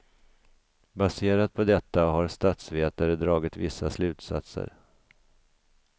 Baserat på detta har statsvetare dragit vissa slutsatser.